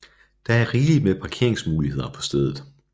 Der er rigeligt med parkeringsmuligheder på stedet